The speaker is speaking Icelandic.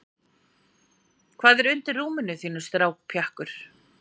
hvað er undir rúminu þínu strákpjakkur